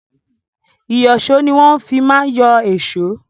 Ìyọ̀ṣó ni wọ́n fi má ń yọ èṣó.